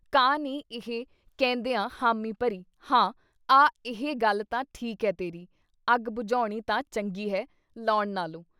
“ ਕਾਂ ਨੇ ਇਹ ਕਹਿੰਦਿਆਂ ਹਾਮੀਂ ਭਰੀ- ਹਾਂ-ਆ ਇਹ ਗੱਲ ਤਾਂ ਠੀਕ ਐ ਤੇਰੀ ਅੱਗ ਬੁਝਾਉਣੀ ਤਾਂ ਚੰਗੀ ਹੈ, ਲਾਉਣ ਨਾਲੋਂ”